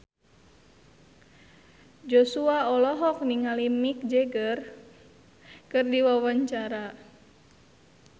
Joshua olohok ningali Mick Jagger keur diwawancara